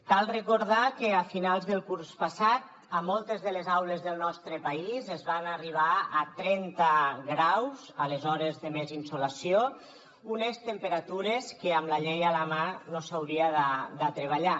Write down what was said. cal recordar que a finals del curs passat a moltes de les aules del nostre país es va arribar a trenta graus a les hores de més insolació unes temperatures a què amb la llei a la mà no s’hauria de treballar